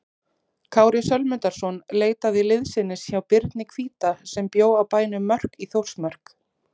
Kári Sölmundarson leitaði liðsinnis hjá Birni hvíta sem bjó á bænum Mörk í Þórsmörk.